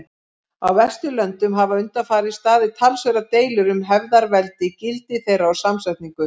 Á Vesturlöndum hafa undanfarið staðið talsverðar deilur um hefðarveldi, gildi þeirra og samsetningu.